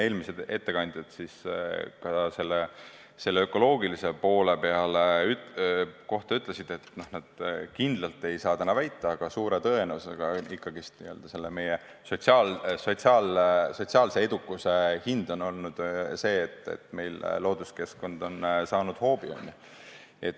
Eelmised ettekandjad ka selle ökoloogilise poole kohta ütlesid, et nad kindlalt ei saa väita, aga suure tõenäosusega ikkagi meie sotsiaalse edukuse hind on olnud see, et looduskeskkond on saanud hoobi.